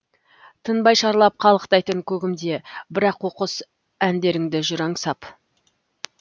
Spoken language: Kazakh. тынбай шарлап қалықтайтын көгімде бір аққу құс әндеріңді жүр аңсап